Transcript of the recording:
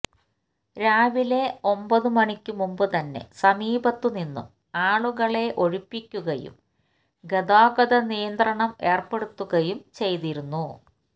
രാവിലെ ഒമ്പത് മണിക്ക് മുമ്പുതന്നെ സമീപത്തുനിന്നും ആളുകളെ ഒഴിപ്പിക്കുകയും ഗതാഗത നിയന്ത്രണം ഏർപ്പെടുത്തുകയും ചെയ്തിരുന്നു